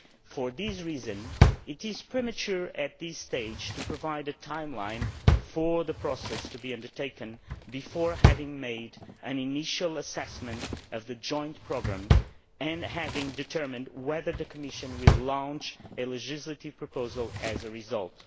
For this reason, it is premature at this stage to provide a timeline for the process to be undertaken before we have made an initial assessment of the joint programme and before we have determined whether the Commission will launch a legislative proposal as a result.